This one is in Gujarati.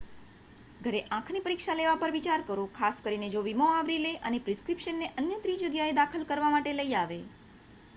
ઘરે આંખની પરીક્ષા લેવા પર વિચાર કરો ખાસ કરીને જો વીમો આવરી લે અને પ્રિસ્ક્રિપ્શન ને અન્ય ત્રિજગ્યાએ દાખલ કરવા માટે લઈ આવે